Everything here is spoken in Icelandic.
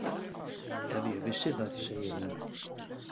Ef ég vissi það, segir hún.